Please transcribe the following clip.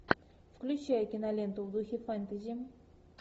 включай киноленту в духе фэнтези